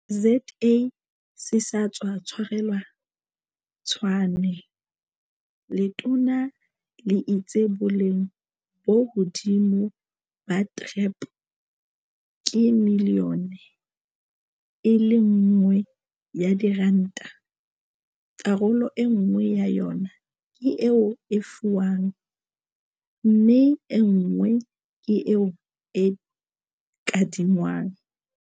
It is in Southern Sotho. ZA se sa tswa tshwarelwa Tshwane, letona le itse boleng bo hodimodimo ba TREP ke miliyone e le nngwe ya diranta, karolo enngwe ya yona ke eo e fiwang mme enngwe ke eo e kadingwang.